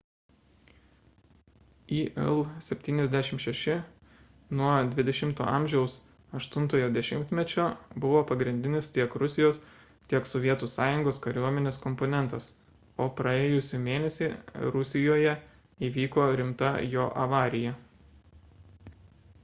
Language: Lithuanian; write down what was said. il-76 nuo xx a 8-ojo dešimtmečio buvo pagrindinis tiek rusijos tiek sovietų sąjungos kariuomenės komponentas o praėjusį mėnesį rusijoje įvyko rimta jo avarija